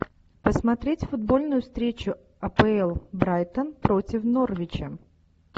посмотреть футбольную встречу апл брайтон против норвича